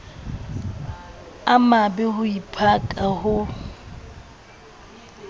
a mabe ho diphaka ho